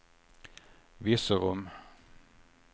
Virserum